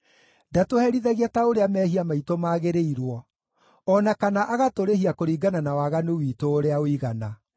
Ndatũherithagia ta ũrĩa mehia maitũ magĩrĩirwo, o na kana agatũrĩhia kũringana na waganu witũ ũrĩa ũigana.